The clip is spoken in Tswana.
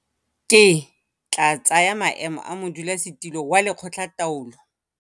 Ke tla tsaya maemo a modulasetilo wa Lekgotlataolo